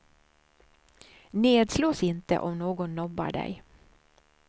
Nedslås inte om någon nobbar dig.